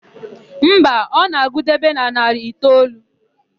Mba, ọ na-agụdebe na narị itoolu.